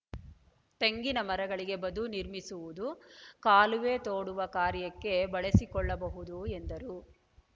ತೆಂಗಿನ ಮರಗಳಿಗೆ ಬದು ನಿರ್ಮಿಸುವುದು ಕಾಲುವೆ ತೋಡುವ ಕಾರ್ಯಕ್ಕೆ ಬಳಸಿಕೊಳ್ಳಬಹುದು ಎಂದರು